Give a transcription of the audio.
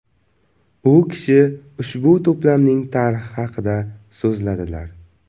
U kishi ushbu to‘plamning tarixi haqida so‘zladilar.